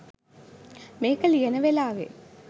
මේක ලියන වෙලාවේ